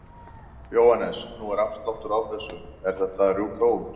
Jóhannes: Nú er afsláttur á þessu, er þetta að rjúka út?